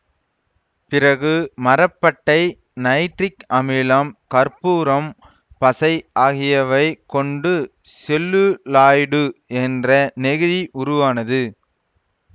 பிறகு மரப்பட்டை நைட்ரிக் அமிலம் கற்பூரம் பசை ஆகியவை கொண்டு செல்லுலாய்டு என்ற நெகிழி உருவானது